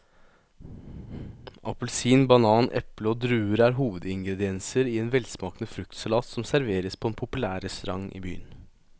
Appelsin, banan, eple og druer er hovedingredienser i en velsmakende fruktsalat som serveres på en populær restaurant i byen.